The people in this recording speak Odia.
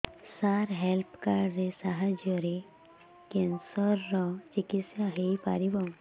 ସାର ହେଲ୍ଥ କାର୍ଡ ସାହାଯ୍ୟରେ କ୍ୟାନ୍ସର ର ଚିକିତ୍ସା ହେଇପାରିବ